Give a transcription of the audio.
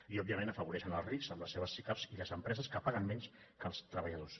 i òbviament afavoreixen els rics amb les seves sicav i les empreses que paguen menys que els treballadors